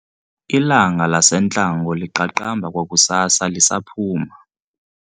Ilanga lasentlango liqaqamba kwakusasa lisaphuma.